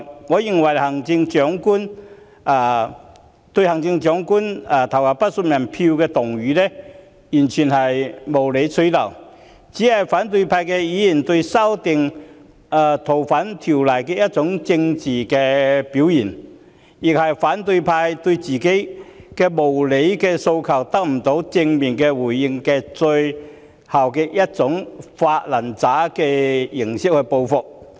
我認為"對行政長官投不信任票"議案完全無理取鬧，只是反對派議員對修訂《逃犯條例》的政治表現，亦是反對派因為自己的無理訴求得不到正面回應而作出的"發爛渣式"報復。